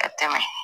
Ka tɛmɛ